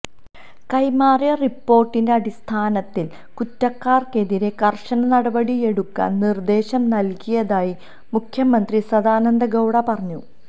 കൈമാറിയ റിപ്പോര്ട്ടിന്റെ അടിസ്ഥാനത്തില് കുറ്റക്കാര്ക്കെതിരെ കര്ശന നടപടിയെടുക്കാന് നിര്ദ്ദേശം നല്കിയതായി മുഖ്യമന്ത്രി സദാനന്ദ ഗൌഡ പറഞ്ഞു